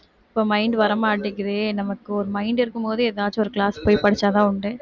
இப்ப mind வர மாட்டேங்குதே நமக்கு ஒரு mind இருக்கும்போதே ஏதாச்சும் ஒரு class போய் படிச்சாதான் உண்டு